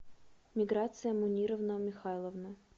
миграция мунировна михайловна